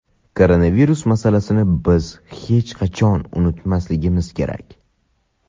Koronavirus masalasini biz hech qachon unutmasligimiz kerak.